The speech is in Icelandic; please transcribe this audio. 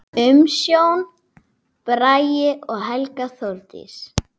Umsjón: Bragi og Helga Þórdís.